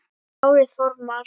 Kári Þormar.